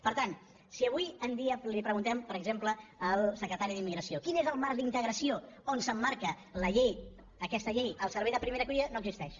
per tant si avui en dia preguntem per exemple al secretari d’immigració quin és el marc d’integració on s’emmarca la llei aquesta llei al servei de primera acollida no existeix